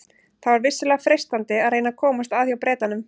Það var vissulega freistandi að reyna að komast að hjá Bretanum.